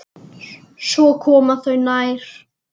Svo komu þeir nær.